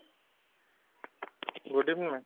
good evening ma'am